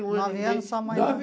Nove anos só a mãe.